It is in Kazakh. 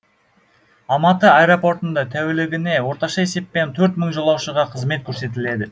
алматы аэропортында тәулігіне орташа есеппен төрт мың жолаушыға қызмет көрсетіледі